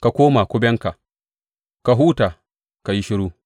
Ka koma kubenka; ka huta, ka yi shiru.’